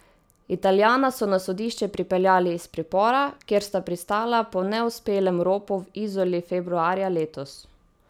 Italijana so na sodišče pripeljali iz pripora, kjer sta pristala po neuspelem ropu v Izoli februarja letos.